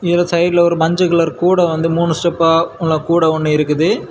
இவர் சைடுல ஒரு மஞ்ச கலர் கூட வந்து மூணு ஸ்டெப்பா உள்ள கூட ஒன்னு இருக்குது.